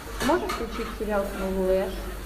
можешь включить сериал флэш